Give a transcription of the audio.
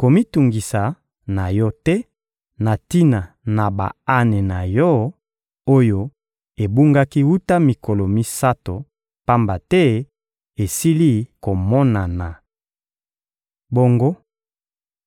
Komitungisa na yo te na tina na ba-ane na yo, oyo ebungaki wuta mikolo misato, pamba te esili komonana. Bongo